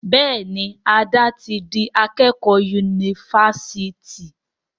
Béèni Ade tí dì akékò Yunifásitì.